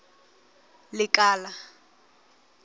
lekala